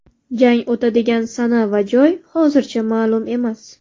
Jang o‘tadigan sana va joy hozircha ma’lum emas.